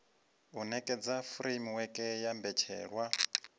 u nekedza furemiweke ya mbetshelwa